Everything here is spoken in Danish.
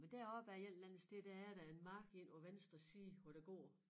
Men deroppe af et eller andet sted der er der en mark inde på venstre side hvor der går